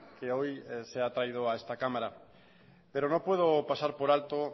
que hoy se ha traído a esta cámara pero no puedo pasar por alto